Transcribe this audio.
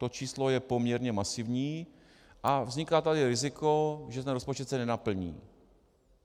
To číslo je poměrně masivní a vzniká tady riziko, že se rozpočet nenaplní.